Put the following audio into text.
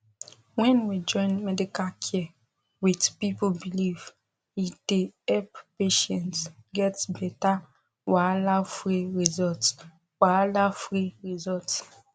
when we join medical care with people belief e dey help patients get better wahalafree result wahalafree result